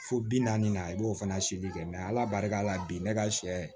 Fo bi naani na i b'o fana seri kɛ ala barika la bi ne ka sɛ